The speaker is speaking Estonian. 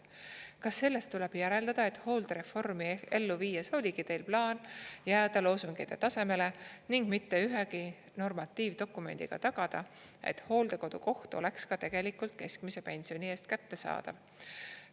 Kas sellest tuleb järeldada, et hooldereformi ellu viies oligi Teil plaan jääda loosungite tasemele ning mitte ühegi normatiivdokumendiga tagada, et hooldekodu koht oleks ka tegelikult keskmise pensioni eest kättesaadav?